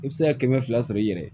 I bɛ se ka kɛmɛ fila sɔrɔ i yɛrɛ ye